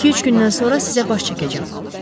İki-üç gündən sonra sizə baş çəkəcəm.